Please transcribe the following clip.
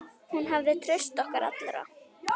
Hún hafði traust okkar allra.